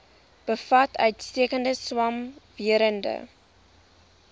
bevat uitstekende swamwerende